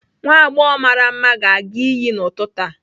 Nwa agbọghọ mara mma ga-aga iyi n'ụtụtụ a.